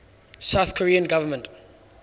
south korean government